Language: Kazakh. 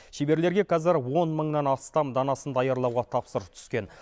шеберлерге қазір он мыңнан астам данасын даярлауға тапсырыс түскен